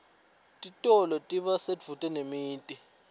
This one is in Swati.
titolo tiba sedvute nemiti